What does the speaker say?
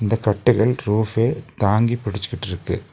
இந்த கட்டைகள் ரூஃப்பே தாங்கி பிடிச்சுக்கிட்ருக்கு.